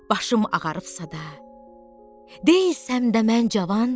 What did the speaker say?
Başım ağarıbsa da, deyilsəm də mən cavan.